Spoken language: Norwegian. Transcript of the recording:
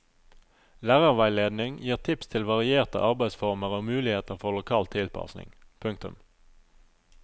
Lærerveiledning gir tips til varierte arbeidsformer og muligheter for lokal tilpasning. punktum